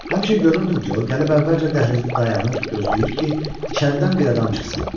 Həmişə görürdüm ki, o gəlib əvvəlcə dəhlizdə dayanır, gözləyir ki, içəridən bir adam çıxsın.